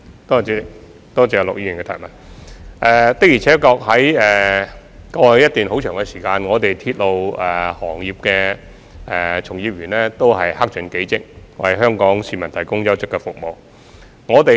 的而且確，一直以來，鐵路行業的從業員都克盡己職，為香港市民提供優質服務。